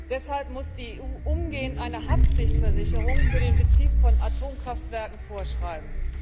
Deshalb muss die EU umgehend eine Haftpflichtversicherung für den Betrieb von Atomkraftwerken vorschreiben.